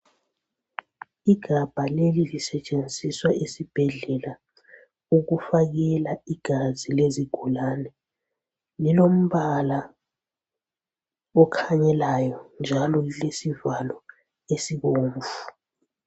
Igaba leli lisetshenziswa esibhedlela ukufakela igazi lezigulane lilombala okhanyelayo njalo ulwesivalo esibomvu